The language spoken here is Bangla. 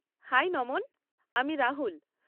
হাই নমন! আমি রাহুল।